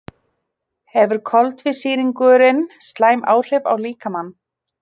Hefur koltvísýringurinn slæm áhrif á líkamann?